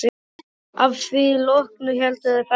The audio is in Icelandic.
Að því loknu héldu þau ferðinni áfram.